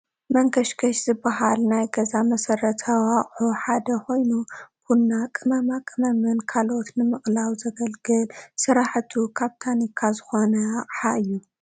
መንከሽከሽ ዝበሃል ናይ ገዛ መሰረታዊ ኣቑሑ ሓደ ኮይኑ ቡና፣ ቅመማ ቅመምን ካልኦትን ንምቕላው ዘገልግል ስርሓቱ ካብ ታኒካ ዝኾነ ኣቕሓ እዩ፡፡